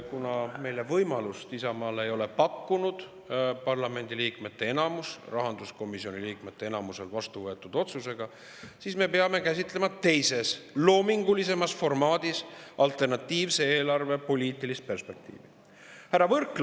Kuna meile, Isamaale ei ole parlamendi liikmete enamus rahanduskomisjoni liikmete enamuse poolt vastu võetud otsusega võimalust pakkunud, siis me peame käsitlema alternatiivse eelarve poliitilist perspektiivi teises, loomingulisemas formaadis.